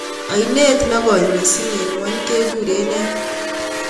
Ainet negoi mising en ng'wony keguren nee